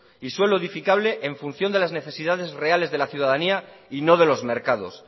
y suelo edificable en función de las necesidades reales de la ciudadanía y no de los mercados